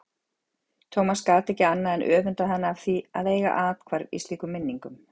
Thomas gat ekki annað en öfundað hana af því að eiga athvarf í slíkum minningum.